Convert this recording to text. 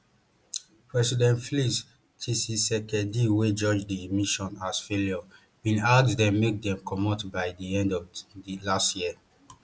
president flix tshisekedi wey judge di mission as failure bin ask dem make dem comot by di end of last year